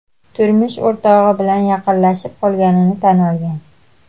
turmush o‘rtog‘i bilan yaqinlashib qolganini tan olgan.